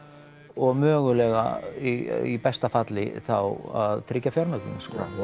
og mögulega í besta falli þá að tryggja fjármögnun sko